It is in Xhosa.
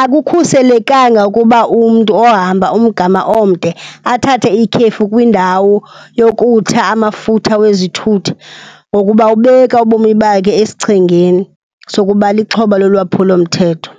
Akukhuselekanga ukuba umntu ohamba umgama omde athathe ikhefu kwindawo yokutha amafutha wezithuthi ngokuba ubeka ubomi bakhe esichengeni sokuba lixhoba lolwaphulomthetho.